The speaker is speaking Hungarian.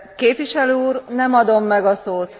Képviselő úr, nem adom meg a szót!